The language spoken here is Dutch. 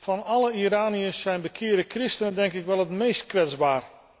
Van alle Iraniërs zijn bekeerde christenen, denk ik, wel het meest kwetsbaar.